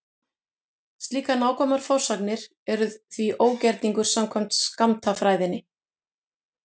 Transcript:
Slíkar nákvæmar forsagnir eru því ógerningur samkvæmt skammtafræðinni.